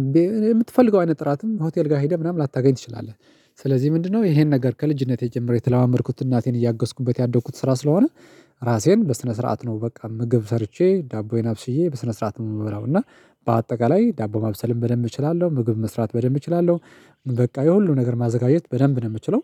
እኔ የምትፈልገው አይነት ጥራትም ሆቴል ጋር ሄደህ ምናምን ላታገኝ ትችላለህ። ስለዚህ ምንድነው? ይሄን ነገር ከልጅነቴ ጀምሮ የተላመድኩት እናቴን እያገዝኩበት ያደግኩት ስራ ስለሆነ። ራሴን በስነ ስርዓት ነው በቃ ምግብ ሰርቼ ዳቦዬን አብስዬ በስነ ስርዓት ነው የምበላው እና። በአጠቃላይ ዳቦ ማብሰልም በደንብ እችላለሁ ምግብ መስራት በደንብ እችላለሁ በቃ የሁሉም ነገር ማዘጋጀት በደንብ ነው የምችለው።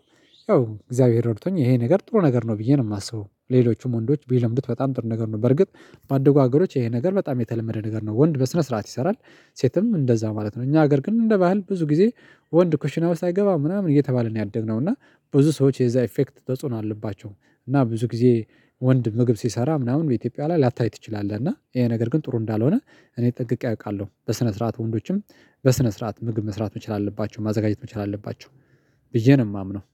ያው እግዚአብሔር ይረድቶኝ ይሄ ነገር ጥሩ ነገር ነው ብዬ ነው የማስበው ሌሎቹም ወንዶች ቢለምዱት በጣም ጥሩ ነገር ነው። በርግጥ ባደጉ ሀገሮች ይሄ ነገር በጣም የተለመደ ነገር ነው ወንድ በስነ ስርዓት ይሰራል። ሴትም እንደዛ ማለት ነው እኛ ሀገር ግን እንደ ባህል ብዙ ጊዜ ወንድ ኩሽና ውስጥ አይገባም ምናምን እየተባለ ነው ያደግነው እና ብዙ ሰዎች የዛ ኢፌክት ተጽዕኖ አለባቸው። እና ብዙ ጊዜ ወንድ ምግብ ሲሰራ ምናምን በኢትዮጵያ ላይ ላታይ ትችላለህ። እና ይሄ ነገር ግን ጥሩ እንዳልሆነ እኔ ጠንቅቄ አውቃለሁ። በስነ ስርዓት ወንዶችም በስነ ስርዓት ምግብ መስራት መቻል አለባቸው ማዘጋጀት መቻል አለባቸው። ብዬ ነው የማምነው